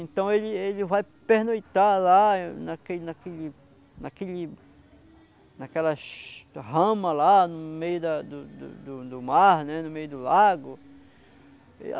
Então ele ele vai pernoitar lá naquele naquele naquele naquela rama lá no meio do do do mar, no meio do lago.